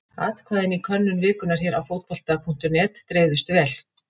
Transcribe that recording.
Atkvæðin í könnun vikunnar hér á Fótbolta.net dreifðust vel.